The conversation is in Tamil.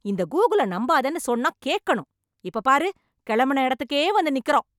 இந்த கூகுளை நம்பாதேன்னு சொன்னா கேக்கணும். இப்ப பாரு கிளம்பின இடத்துக்கே வந்து நிக்கிறோம்.